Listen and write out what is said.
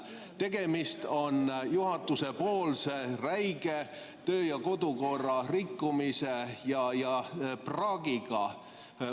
Tegemist on juhatuse räige töö- ja kodukorra rikkumisega, praagiga.